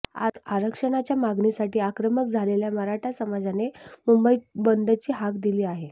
आरक्षणाच्या मागणीसाठी आक्रमक झालेल्या मराठा समाजाने मुंबई बंदची हाक दिली आहे